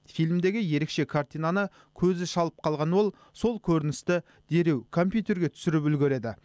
фильмдегі ерекше картинаны көзі шалып қалған ол сол көріністі дереу компьютерге түсіріп үлгереді